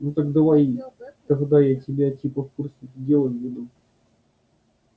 ну давай тогда я тебя типа в курс дела введу